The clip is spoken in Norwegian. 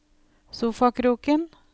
sofakroken